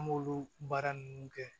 An b'olu baara ninnu kɛ